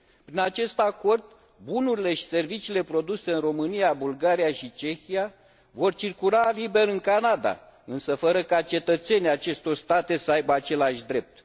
Prin acest acord, bunurile și serviciile produse în România, Bulgaria și Cehia vor circula liber în Canada, însă fără ca cetățenii acestor state să aibă același drept.